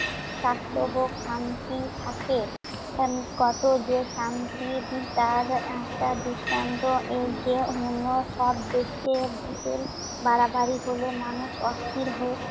স্বাস্থ্য হোক, শান্তি থাকে। আহ কত যে শান্তি তার একটা দৃষ্টান্ত এই যে অন্য সব দেশে ভুতের বাড়াবাড়ি হলে মানুষ অস্থির হয়ে